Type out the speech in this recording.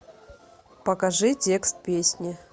покажи текст песни